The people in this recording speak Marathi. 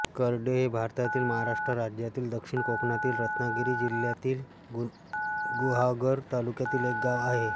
करडे हे भारतातील महाराष्ट्र राज्यातील दक्षिण कोकणातील रत्नागिरी जिल्ह्यातील गुहागर तालुक्यातील एक गाव आहे